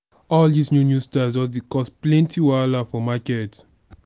all dis new new styles just dey cause plenty wahala for market.